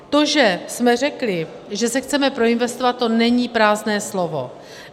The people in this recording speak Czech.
To, že jsme řekli, že se chceme proinvestovat, to není prázdné slovo.